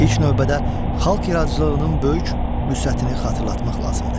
İlk növbədə xalq iradçılığının böyük vüsətini xatırlatmaq lazımdır.